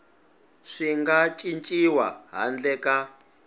swi nga cinciwi handle ka